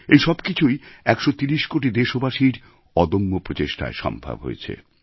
এই সব কিছুই ১৩০ কোটি দেশবাসীর অদম্য প্রচেষ্টায় সম্ভব হয়েছে